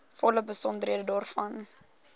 volle besonderhede daarvan